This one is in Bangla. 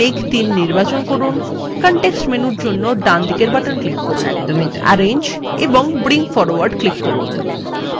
তারপর মেঘ ৩ নির্বাচন করুন context menu জন্য ডানদিকের বাটন click করুন arrange এবং bring forward click করুন